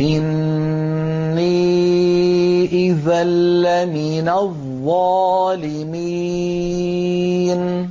إِنِّي إِذًا لَّمِنَ الظَّالِمِينَ